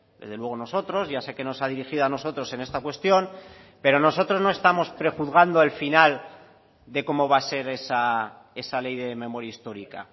desde luego nosotros ya sé que no se ha dirigido a nosotros en esta cuestión pero nosotros no estamos prejuzgando el final de cómo va a ser esa ley de memoria histórica